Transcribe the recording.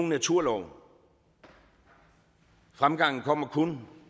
naturlov for fremgangen kommer kun